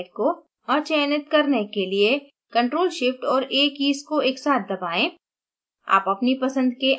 panel पर peptide को अचयनित करने के लिए ctrl shift और a कीज़ को एक साथ दबाएं